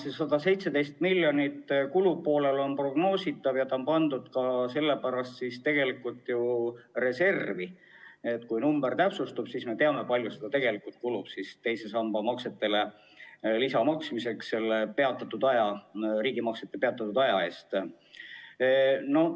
See 117 miljonit eurot kulupoolel on prognoositav ja see on pandud ju ka sellepärast reservi, et kui summa täpsustub, siis me teame, kui palju raha tegelikult kulub teise samba maksetele lisa maksmiseks selle aja eest, kui riigipoolne maksete tegemine oli peatatud.